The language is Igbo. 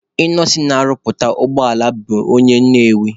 Ịnọsin na-arụpụta ụgbọala bụ onye Nnewi.